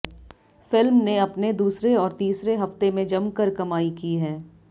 film ने अपने दूसरे और तीसरे हफ्ते में जमकर कमाई की है